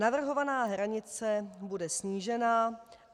Navrhovaná hranice bude snížena.